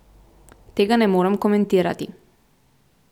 Tega ne morem komentirati.